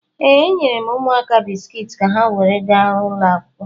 Ee, enyere m ụmụaka bisikiiti ka ha were gaa ụlọ akwụkwọ.